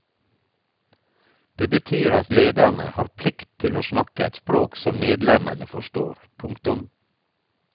Det betyr at lederne har plikt til å snakke et språk som medlemmene forstår. punktum